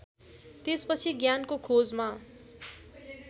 त्यसपछि ज्ञानको खोजमा